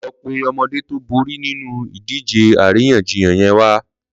Lọ pé ọmọdé tó bóri ninú idìjé àrínyànjíyàn yèn wá